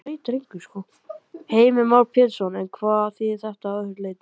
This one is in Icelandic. Heimir Már Pétursson: En hvað þýðir þetta að öðru leyti?